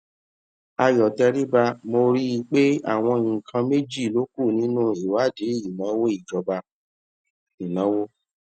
ayo teriba mo rí i pé àwọn nǹkan méjì ló kù nínú ìwádìí ìnáwó ìjọba ìnáwó